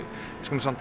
skulum samt